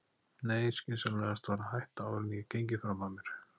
Nei, skynsamlegast var að hætta áður en ég gengi fram af mér.